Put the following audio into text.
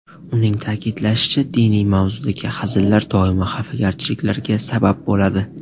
Uning ta’kidlashicha, diniy mavzudagi hazillar doimo xafagarchiliklarga sabab bo‘ladi.